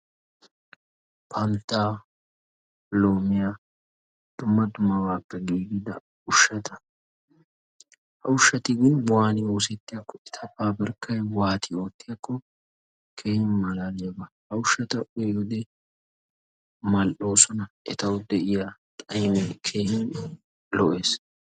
Panttaa loommiya dumma dummabaappe giigida ushshata. Ushshatinne waani oosettiyaakkonne eta paabirkkay waati oottiyaakko keehi maalaaliyaaba, ha ushshata uyiyoode mal'oososona, etawu de'iya xaa'imee keehin lo'ees.